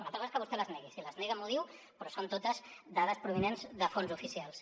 una altra cosa és que vostè les negui si les nega m’ho diu però són totes dades provinents de fonts oficials